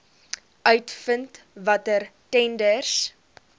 uitvind watter tenders